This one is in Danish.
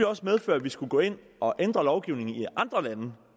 også medføre at vi skulle gå ind og ændre lovgivningen i andre lande